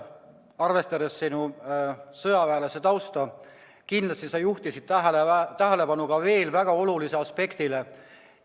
Arvestades sinu sõjaväelase tausta, ütlen, et sa juhtisid tähelepanu kindlasti väga olulisele aspektile.